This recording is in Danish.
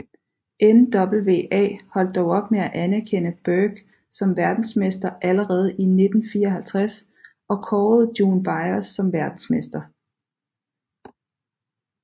NWA holdt dog op med at anerkende Burke som verdensmester allerede i 1954 og kårede June Byers som verdensmester